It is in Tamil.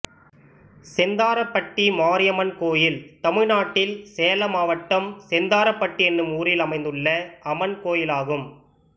செந்தாரப்பட்டி மாரியம்மன் கோயில் தமிழ்நாட்டில் சேலம் மாவட்டம் செந்தாரப்பட்டி என்னும் ஊரில் அமைந்துள்ள அம்மன் கோயிலாகும்